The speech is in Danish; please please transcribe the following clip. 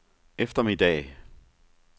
eftermiddag